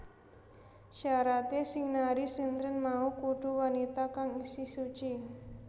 Syaraté sing nari sintren mau kudu wanita kang isih suci